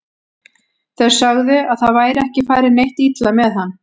Þeir sögðu að það væri ekki farið neitt illa með hann.